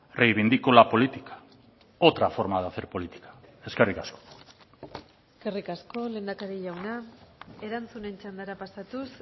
reivindico la política otra forma de hacer política eskerrik asko eskerrik asko lehendakari jauna erantzunen txandara pasatuz